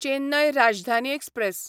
Chennai Rajdhani express